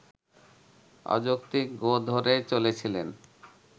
অযৌক্তিক গোঁ ধরে চলেছিলেন